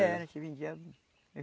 Era, a gente vendia.